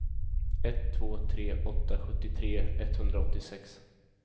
ett två tre åtta sjuttiotre etthundraåttiosex